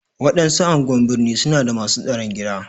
Waɗansu anguwan birni su na da masu tsaron gida.